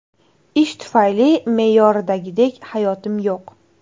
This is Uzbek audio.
Ish tufayli me’yordagidek hayotim yo‘q.